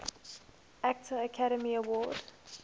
actor academy award